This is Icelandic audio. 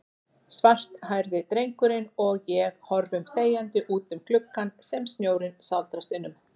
Svarthærði drengurinn og ég horfum þegjandi útum gluggann sem snjórinn sáldrast innum.